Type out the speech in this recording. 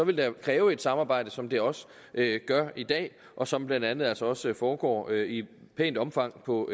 vil kræve et samarbejde som det også gør i dag og som blandt andet altså også foregår i et pænt omfang på